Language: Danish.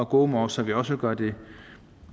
gomore så vi også gør det